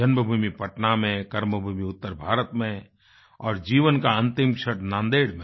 जन्मभूमि पटना में कर्मभूमि उत्तर भारत में और जीवन का अंतिम क्षण नांदेड़ में